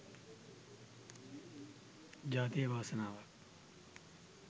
ජාතියේ වාසනාවක්.